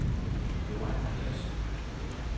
Joan Gertsen